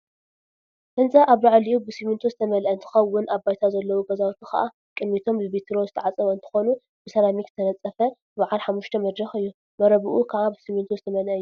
ህንፃ አብ ላዕሉ ብስሚንቶ ዝተመልአ እንትኸውን አብ ባይታ ዘለው ገዛውቲ ከዓ ቅድሚቶም ብቤትሮ ዝተዓፀው እንትኾኑ፤ ብሰራሚክ ዝተነፀፈ በዓል ሓሙሽተ መድረክ እዩ፡፡ መረብኡ ከዓ ብስሚንቶ ዝተመላክዐ እዩ፡፡